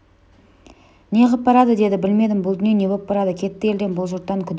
не қып барады деді білмедім бұл дүние не боп барады кетті елден бұл жұрттан күдер үзіп